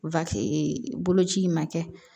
boloci in ma kɛ